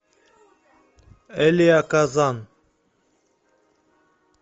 элиа казан